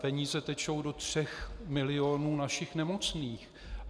Peníze tečou do tří milionů našich nemocných.